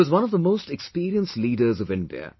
He was one of the most experienced leaders of India